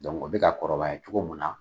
o bɛ ka kɔrɔbaya cogo min na.